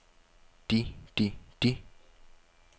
de de de